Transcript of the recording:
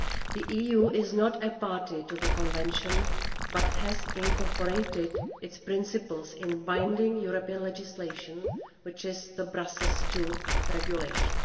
The EU is not a party to the Convention but has incorporated its principles in binding European legislation, which is the Brussels II Regulation.